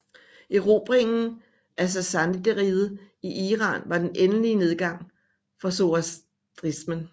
Erobringen af sasanideriget i Iran var den endelige nedgang for zoroastrismen